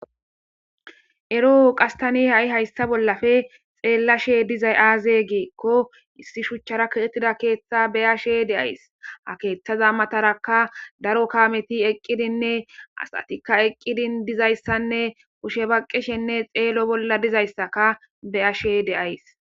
ero qasi ha7i hayssa bollafe xeellashe dizay aaze geekko issi shuchchara katettida keeththa beyashe deays ha keeththaza mataraka daro kameti eqqidinne asatikka eqqidin dizayssanne kushe baqqishenne xeelo bolla dizayssaka beyashe deays